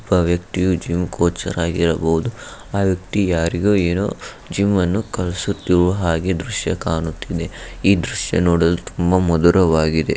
ಒಬ್ಬ ವ್ಯಕ್ತಿಯು gym coacher ಆಗಿರಬಹುದು. ಆ ವ್ಯಕ್ತಿ ಯಾರಿಗೊ ಏನೋ ಜಿಮ್ ಅನ್ನು ಕಲಿಸುತ್ತಿರುವ ಹಾಗೆ ದೃಶ್ಯ ಕಾಣುತ್ತದೆ. ಈ ದೃಶ್ಯ ನೋಡಲು ತುಂಬ ಮಧುರವಾಗಿದೆ.